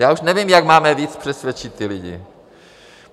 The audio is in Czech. Já už nevím, jak máme víc přesvědčit ty lidi.